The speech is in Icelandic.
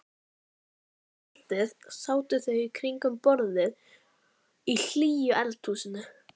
Um kvöldið sátu þau í kringum borðið í hlýju eldhúsinu.